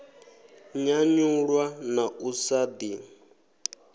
nyanyulwa na u sa ḓi